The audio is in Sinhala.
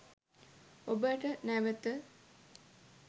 ඔබට නැවත